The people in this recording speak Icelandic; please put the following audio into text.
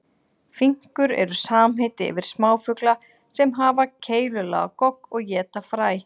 Finkur eru samheiti yfir smáfugla sem hafa keilulaga gogg og éta fræ.